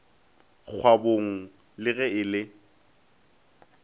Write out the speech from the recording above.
kgwabong le ge e le